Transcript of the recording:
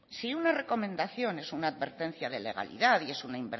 si una recomendación es una advertencia de legalidad y es